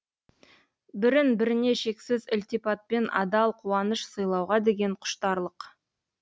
бірін біріне шексіз ілтипатпен адал қуаныш сыйлауға деген құштарлық